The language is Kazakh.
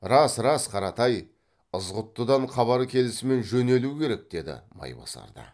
рас рас қаратай ызғұттыдан хабар келісімен жөнелу керек деді майбасар да